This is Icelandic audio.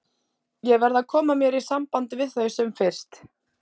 Ég verð að koma mér í samband við þau sem fyrst.